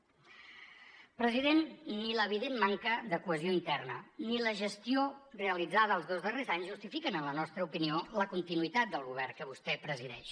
president ni l’evident manca de cohesió interna ni la gestió realitzada els dos darrers anys justifiquen en la nostra opinió la continuïtat del govern que vostè presideix